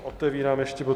Otevírám ještě bod